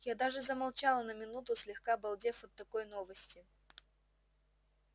я даже замолчала на минуту слегка обалдев от такой новости